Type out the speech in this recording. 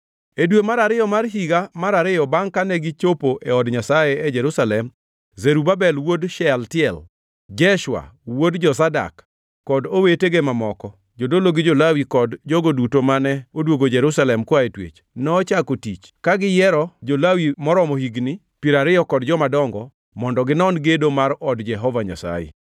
E dwe mar ariyo mar higa mar ariyo bangʼ kane gichopo e od Nyasaye e Jerusalem, Zerubabel wuod Shealtiel, Jeshua wuod Jozadak kod owetege mamoko (jodolo gi jo-Lawi kod jogo duto mane odwogo Jerusalem koa e twech) nochako tich, ka giyiero jo-Lawi moromo higni piero ariyo kod jomadongo mondo ginon gedo mar od Jehova Nyasaye.